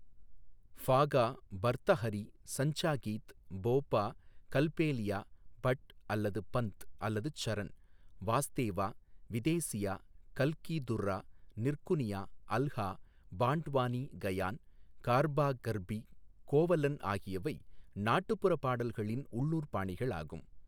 ஃபாகா, பர்தஹரி, சஞ்சா கீத், போபா, கல்பேலியா, பட் அல்லது பந்த் அல்லது சரண், வாஸ்தேவா, விதேசியா, கல்கி துர்ரா, நிர்குனியா, அல்ஹா, பாண்ட்வானி கயான், கர்பா கர்பி கோவலன் ஆகியவை நாட்டுப்புறப் பாடல்களின் உள்ளூர் பாணிகளாகும்.